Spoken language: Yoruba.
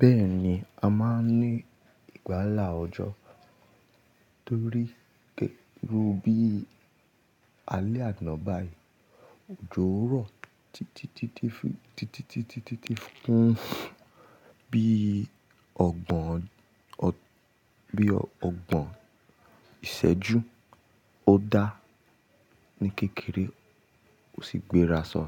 Bẹ́ẹ̀ni, a máa ń ní ìgbálà ọjọ́ torí gẹ́ rú bí i alẹ́ àná báyìí, òjó rọ̀ títí títí títí títí títí fún bí ọgbọ̀n ìsẹ́jú ó dá ní kékeré, ó sì gbéra sọ,